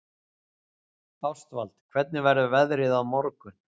Ástvald, hvernig verður veðrið á morgun?